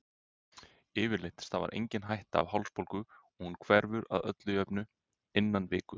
Yfirleitt stafar engin hætta af hálsbólgu og hún hverfur að öllu jöfnu innan viku.